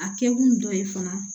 A kɛ kun dɔ ye fana